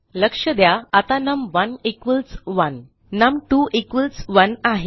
लक्ष द्या आता नम1 1 नम2 1 आहे